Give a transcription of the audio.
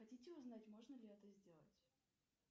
хотите узнать можно ли это сделать